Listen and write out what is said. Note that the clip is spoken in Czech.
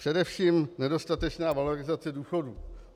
Především nedostatečná valorizace důchodů.